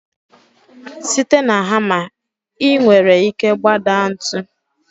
Site na hamma, ị nwere ike gbadaa ntu.